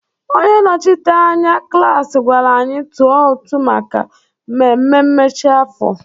Onye nnọchiteanya klaasị gwara anyị tụọ ụtụ maka mmemme mmechi afọ.